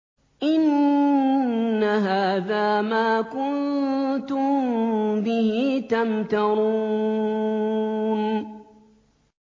إِنَّ هَٰذَا مَا كُنتُم بِهِ تَمْتَرُونَ